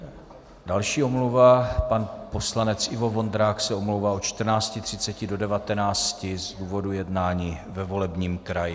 Další omluva - pan poslanec Ivo Vondrák se omlouvá od 14.30 do 19 z důvodu jednání ve volebním kraji.